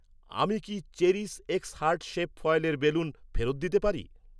আমি কি, cherish X heart shape ফয়েলের বেলুন ফেরত দিতে পারি?